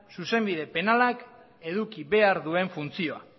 zuzenbide penalak eduki behar duen funtzioa